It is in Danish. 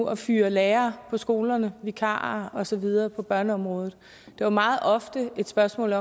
at fyre lærere på skolerne vikarer og så videre på børneområdet det var meget ofte et spørgsmål